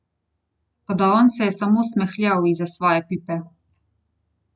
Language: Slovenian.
Toda on se je samo smehljal izza svoje pipe!